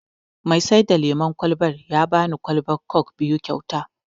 Mai sai da lemon kwalban ya bani kwalban kok biyu kyauta